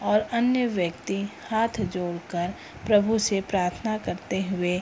और अन्य व्यक्ति हाथ जोड़कर प्रभु से प्रार्थना करते हुए --